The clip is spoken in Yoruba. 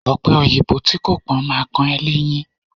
Ọ̀pẹòyìnbó tí kò pọ́n ma kan ẹ́ léyín